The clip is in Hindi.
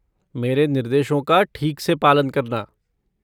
मेरे निर्देशों का ठीक से पालन करना।